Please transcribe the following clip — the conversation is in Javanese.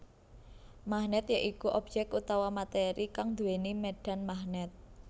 Magnèt ya iku obyek utawa matéri kang nduwéni médhan magnèt